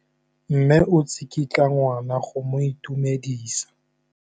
Mme o tsikitla ngwana go mo itumedisa.